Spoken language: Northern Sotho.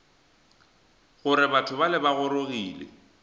gore batho bale ba gorogile